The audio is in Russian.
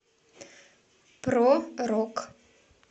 про рок